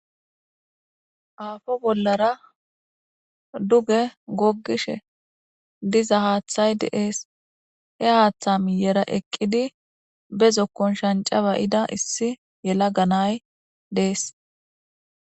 aafo bollara duge goggishe diza haaththay deees he haaththa miyera eqqidi bezokkon shancabayida issi yela ganay dees